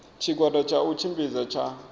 tshigwada tsha u tshimbidza tsha